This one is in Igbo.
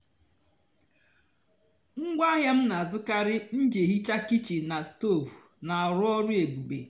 ngwaáahịa m na-àzukári m jì èhìcha kịchìn na stóv na-àrụ́ ọ́rụ́ èbùbè.